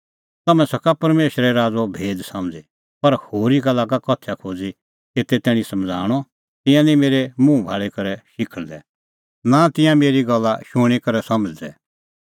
तम्हैं सका परमेशरे राज़ो भेद समझ़ी पर होरी का लागा उदाहरणा दी एते तैणीं समझ़ाऊंणअ तिंयां निं मेरै मुंह भाल़ी करै शिखल़दै नां तिंयां मेरी गल्ला शूणीं करै समझ़दै